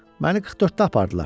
Məni 44-də apardılar.